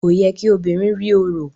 Kò yẹ kí obìnrin rí orò.